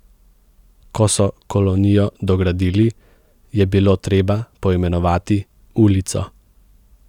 Ko so kolonijo dogradili, je bilo treba poimenovati ulico.